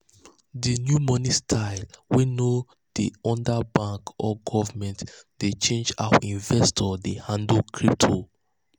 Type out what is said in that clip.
di new money style wey no dey under bank or government dey change how investors dey handle crypto.